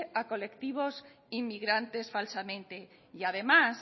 a colectivo inmigrantes falsamente y además